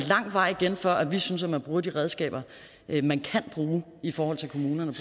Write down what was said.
lang vej igen før vi synes at man bruger de redskaber man kan bruge i forhold til kommunerne